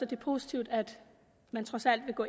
det er positivt at man trods alt vil gå